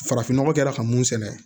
Farafin nɔgɔ kɛra ka mun sɛnɛ